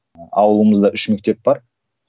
ауылымызда үш мектеп бар